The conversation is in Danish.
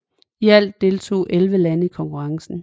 I alt deltog 11 lande i konkurrencen